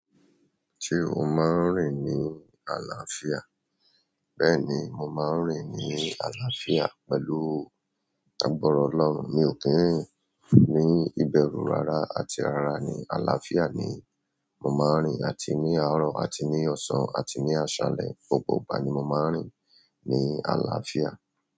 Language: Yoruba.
Ṣé o máa ń rìn ní àlàáfíà? Bẹ́ẹ̀ni, mo máa ń rìn ní àlàáfíà pẹ̀lú àgbara Ọlọ́run. Mi ò kí ń rìn ní ìbẹ̀rù, rárá, àti rárá ni. Àlàáfíà ni mo ma n rin ni àárọ̀ àti ni osan àti ni alẹ́. Gbogbo ìgbà ni mo máa ń rìn ní àlàáfíà.